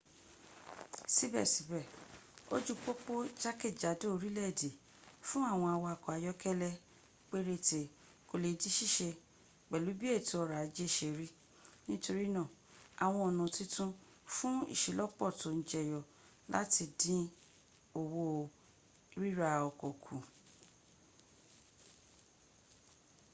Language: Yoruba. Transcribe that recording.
síbẹ̀síbẹ̀ ojú pópó jákèjádò orílẹ̀-èdè fún àwọn awakọ ayọ́kẹ́lẹ́ péréte kò le di síse pẹ̀lú bí ètò ọrọ̀ ajẹ́ sẹ rí nítorínà àwọn ọ̀nà titun fùn ìselọ́pọ́ tó ń jẹyọ láti dín owó ríra ọkọ̀ kù